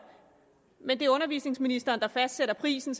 men det er undervisningsministeren der fastsætter prisen